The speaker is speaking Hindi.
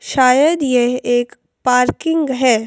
शायद यह एक पार्किंग है।